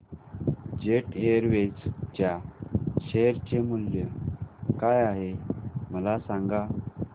jet Airways च्या share चे मूल्य काय आहे मला सांगा